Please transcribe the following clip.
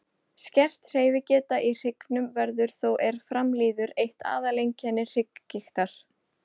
Skert hreyfigeta í hryggnum verður þó er fram líður eitt aðal einkenni hrygggigtar.